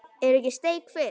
Er ekki steik fyrst?